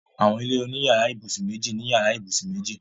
Àwọn ilé oní yàrá-ìbùsùn méjì ní yàrá ìbùsùn méjì.